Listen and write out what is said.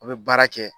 A bɛ baara kɛ